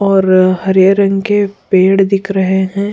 और हरे रंग के पेड़ दिख रहे हैं --